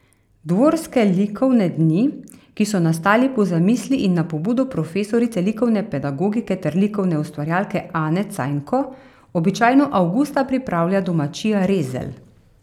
Dvorske likovne dni, ki so nastali po zamisli in na pobudo profesorice likovne pedagogike ter likovne ustvarjalke Ane Cajnko, običajno avgusta pripravlja domačija Rezelj.